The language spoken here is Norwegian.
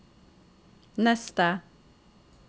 neste